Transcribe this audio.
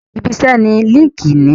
Ibi iṣẹ́ ni líńki-inì